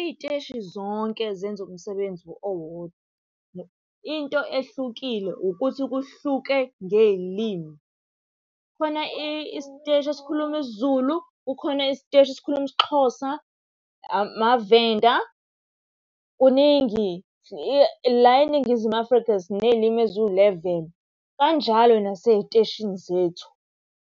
Iy'teshi zonke zenza umsebenzi owodwa, into ehlukile ukuthi kuhluke ngey'limi. Khona isiteshi esikhuluma isiZulu, kukhona isiteshi esikhuluma isiXhosa, amaVenda. Kuningi la eNingizimu Afrika siney'limu eziwuleveni, kanjalo nasey'teshini zethu,